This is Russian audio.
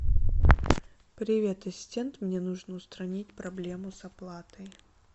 привет ассистент мне нужно устранить проблему с оплатой